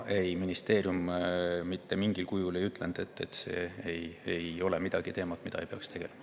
Ministeerium mitte mingil kujul ei ütelnud, et see ei ole teema, millega peaks tegelema.